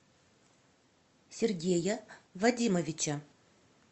сергея вадимовича